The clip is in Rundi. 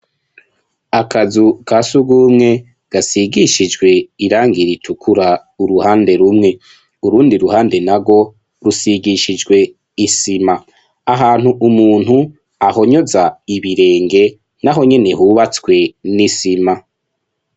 Akazu kasugumwe gisigishijwe Irangi ritukura uruhande rumwe . Urundu ruhande narwo rusigishije isima ahantu umuntu ahonyoza ibirenge naho hubatswe nisima.